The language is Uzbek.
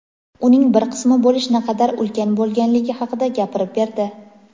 uning bir qismi bo‘lish naqadar ulkan bo‘lganligi haqida gapirib berdi.